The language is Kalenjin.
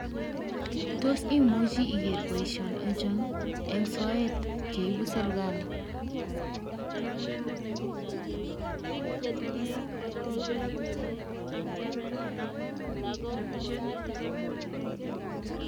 Tos imoche iger boisionik ochon en soet cheyobu sirkali?